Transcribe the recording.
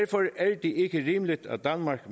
det ikke rimeligt at danmark